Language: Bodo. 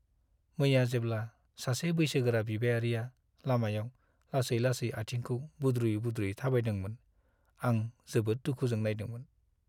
मैया जेब्ला सासे बैसोगोरा बिबायारिया लामायाव लासै-लासै आथिंखौ बुद्रुयै-बुद्रुयै थाबायदोंमोन आं जोबोद दुखुजों नायदोंमोन।